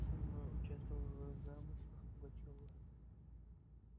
сын мой участвовал в замыслах пугачёва